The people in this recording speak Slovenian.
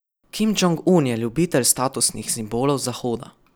Kim Džong Un je ljubitelj statusnih simbolov z Zahoda.